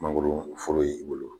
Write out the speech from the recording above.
Mangoro foro y'i bolo.